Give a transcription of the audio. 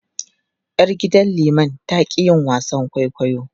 Yar gidan liman ta ƙi yin wasan kwaikwayo.